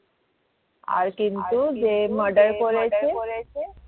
আর কিন্তু যে murder করেছে।